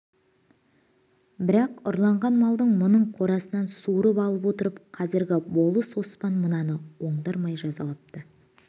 бірақ ұрлаған малын мұның қорасынан суырып алып отырып қазіргі болыс оспан мынаны ондырмай жазалапты